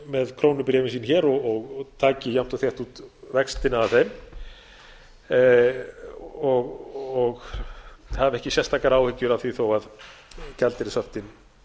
með krónubréfin og taki jafnt og þétt út vextina af þeim og hafi ekki sérstakar áhyggjur af því þó gjaldeyrishöftin